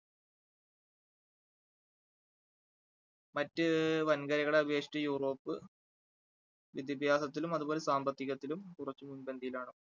മറ്റ് വൻകരകളെ അപേക്ഷിച്ച് യൂറോപ്പ് വിദ്യാഭ്യാസത്തിലും അതുപോലെ സാമ്പത്തികത്തിലും കുറച്ചു മുൻപന്തിയിലാണ്.